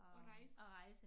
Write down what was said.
At rejse